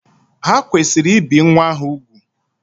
Ha kwesịrị ibi nwa ahụ ugwù.